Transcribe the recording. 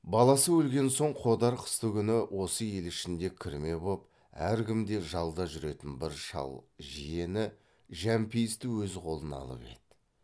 баласы өлген соң қодар қыстыгүні осы ел ішінде кірме боп әркімде жалда жүретін бір шал жиені жәмпейісті өз қолына алып еді